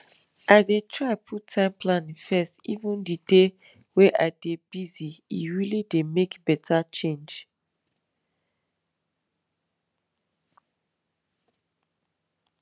i dey try put time planning first even di day way i dey busye really dey make better change